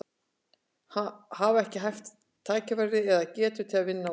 Hafa ekki haft tækifæri eða, eða getu til að vinna úr?